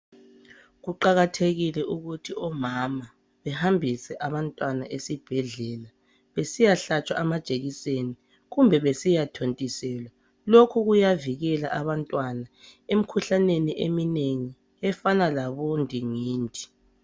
kuqhakathekile ukuthi omama behambise abantwana esibhedlela besiyahlatshwa amajekiseni kumbe besiyathontiselwa lokhu kuyavikela abantwana emkhuhlaneni eminengi efana labo ndingindi